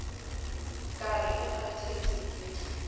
ka re e kgathetse ke